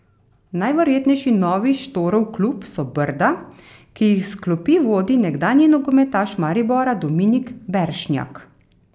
Najverjetnejši novi Štorov klub so Brda, ki jih s klopi vodi nekdanji nogometaš Maribora Dominik Beršnjak.